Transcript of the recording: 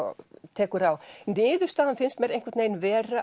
tekur á niðurstaðan finnst mér einhvern veginn vera